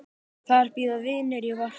En yfir það heila: Rauður.